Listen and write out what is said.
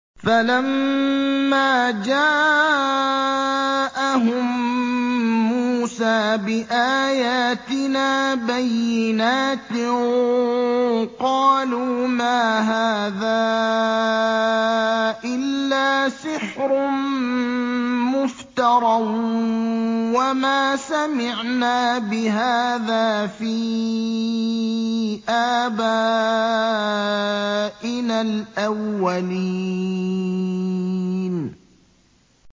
فَلَمَّا جَاءَهُم مُّوسَىٰ بِآيَاتِنَا بَيِّنَاتٍ قَالُوا مَا هَٰذَا إِلَّا سِحْرٌ مُّفْتَرًى وَمَا سَمِعْنَا بِهَٰذَا فِي آبَائِنَا الْأَوَّلِينَ